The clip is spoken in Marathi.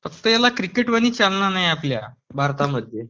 फक्त याला किकेट वाली चालना नाही आपल्या भारतामध्ये